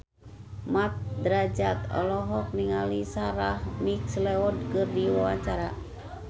Mat Drajat olohok ningali Sarah McLeod keur diwawancara